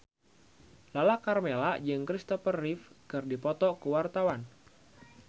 Lala Karmela jeung Christopher Reeve keur dipoto ku wartawan